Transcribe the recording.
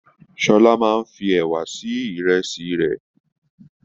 Shola máa n fí ẹwà sí ìrèsì rẹ.